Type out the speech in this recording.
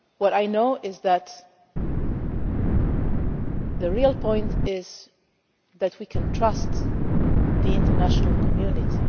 What I do know is that the real point is that we can trust the international community.